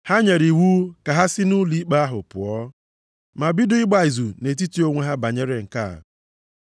Ha nyere iwu ka ha si nʼụlọikpe ahụ pụọ, ma bido ịgba izu nʼetiti onwe ha banyere nke a.